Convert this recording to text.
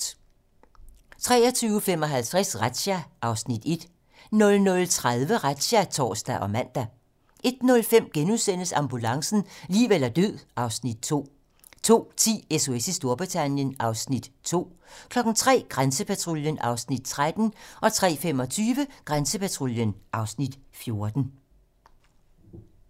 23:55: Razzia (Afs. 1) 00:30: Razzia (tor og man) 01:05: Ambulancen - liv eller død (Afs. 2)* 02:10: SOS i Storbritannien (Afs. 2) 03:00: Grænsepatruljen (Afs. 13) 03:25: Grænsepatruljen (Afs. 14)